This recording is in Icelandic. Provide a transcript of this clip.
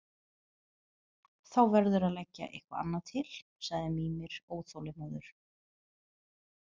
Þá verðurðu að leggja eitthvað annað til, sagði Mímir óþolinmóður.